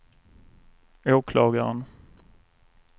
åklagaren